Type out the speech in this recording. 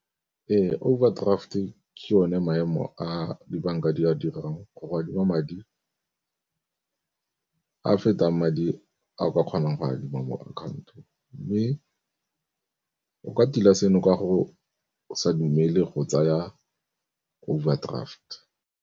Ee, overdraft-e ke yone maemo a dibanka di a dirang go adima madi a fetang madi a o ka kgonang go adima mo account-ong, mme o ka tila seno ka go sa dumele go tsaya overdraft.